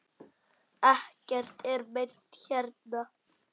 Ekkert er meint hérna.